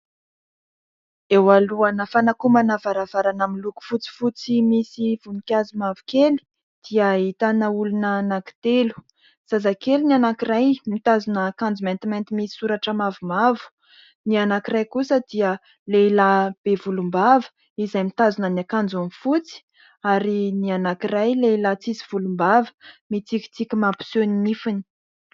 Eo alohana fanakomana varavarana miloko fotsifotsy, misy voninkazo mavokely dia ahitana olona anankitelo : zazakely ny anankiray, mitazona akanjo maintimainty misy soratra mavomavo, ny anankiray kosa dia lehilahy be volom-bava, izay mitazona ny akanjony fotsy ary ny anankiray lehilahy tsisy volom-bava, mitsikitsiky mampiseho ny nifiny.